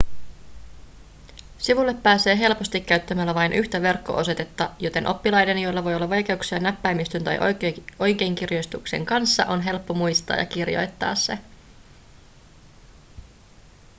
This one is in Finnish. sivulle pääsee helposti käyttämällä vain yhtä verkko-osoitetta joten oppilaiden joilla voi olla vaikeuksia näppäimistön tai oikeinkirjoituksen kanssa on helppo muistaa ja kirjoittaa se